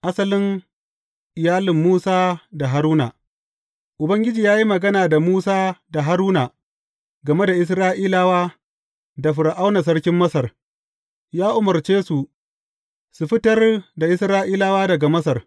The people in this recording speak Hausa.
Asalin iyalin Musa da Haruna Ubangiji ya yi magana da Musa da Haruna game da Isra’ilawa da Fir’auna sarkin Masar, ya umarce su su fitar da Isra’ilawa daga Masar.